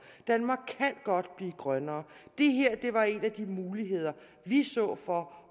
danmark kan godt blive grønnere det her var en af de muligheder vi så for